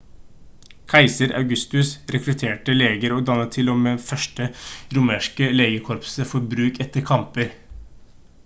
keiser augustus rekrutterte leger og dannet til og med det første romerske legekorpset for bruk etter kamper